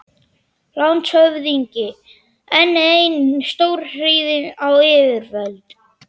LANDSHÖFÐINGI: Enn ein stórskotahríð á yfirvöld!